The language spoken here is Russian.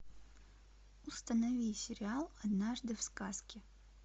установи сериал однажды в сказке